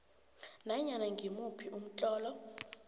nanyana ngimuphi umtlolo